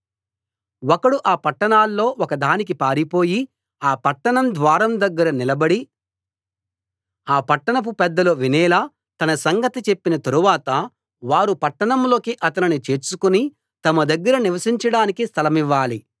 ఒకడు ఆ పట్టణాల్లో ఒక దానికి పారిపోయి ఆ పట్టణ ద్వారం దగ్గర నిలబడి ఆ పట్టణపు పెద్దలు వినేలా తన సంగతి చెప్పిన తరువాత వారు పట్టణంలోకి అతనిని చేర్చుకుని తమ దగ్గర నివసించడానికి స్థలమివ్వాలి